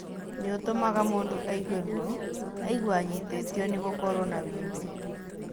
Nĩ ũtũmaga mũndũ aigue ruo, aigue anyitĩtio na gũkorũo na wimbe.